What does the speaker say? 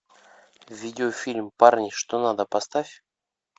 видеофильм парни что надо поставь